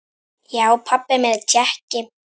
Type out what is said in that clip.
Já, pabbi minn er Tékki